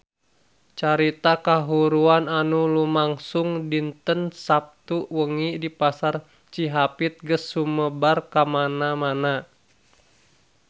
Carita kahuruan anu lumangsung dinten Saptu wengi di Pasar Cihapit geus sumebar kamana-mana